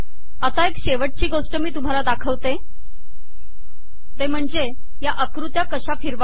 आता एक शेवटची गोष्ट मी तुम्हांला दाखवतेते म्हणजे या आकृत्या कशा फिरवाव्यात